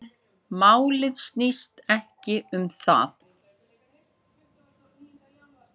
Málið snýst ekki um það.